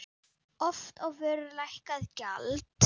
Oft á vöru lækkað gjald.